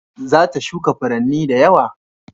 Za ta shuka furanni da yawa